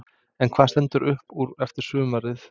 En hvað stendur upp úr eftir sumarið?